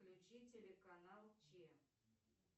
включи телеканал че